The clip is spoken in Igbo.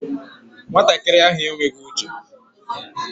Nwatakịrị ahụ enweghị uche